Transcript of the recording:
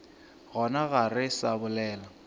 gona ga re sa bolela